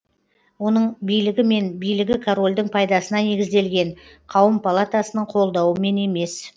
оның билігі мен билігі корольдің пайдасына негізделген қауым палатасының қолдауымен емес